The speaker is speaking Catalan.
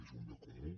és un bé comú